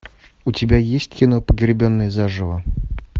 у тебя есть кино погребенный заживо